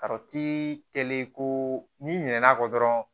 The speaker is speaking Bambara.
Karɔti kɛlen ko n'i ɲinɛ a kɔ dɔrɔn